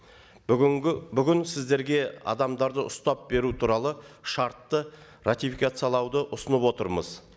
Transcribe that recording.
бүгінгі бүгін сіздерге адамдарды ұстап беру туралы шартты ратификациялауды ұсынып отырмыз